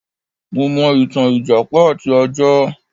Mo mọ̀ ìtàn ìjàpá àti ajá.